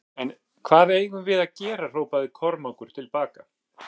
En hvað eigum við að gera hrópaði Kormákur til baka.